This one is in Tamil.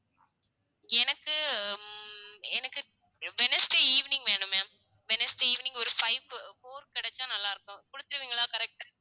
எனக்கு உம் எனக்கு wednesday evening வேணும் ma'am wednesday evening ஒரு five க்கு four கிடைச்சா நல்லா இருக்கும் குடுத்துருவீங்களா correct அ